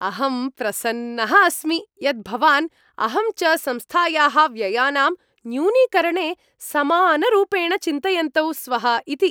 अहं प्रसन्नः अस्मि यत् भवान्, अहं च संस्थायाः व्ययानां न्यूनीकरणे समानरूपेण चिन्तयन्तौ स्वः इति।